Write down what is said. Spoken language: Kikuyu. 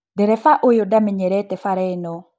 Ndereba ũyũ ndamenyerete bara ĩno